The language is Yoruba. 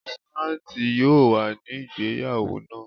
Fáńt yóò wà ní ìgbéyàwó náà.